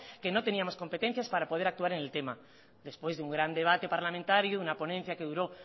que no teníamos competencias para poder actuar en el tema después de un gran debate parlamentario una ponencia que duró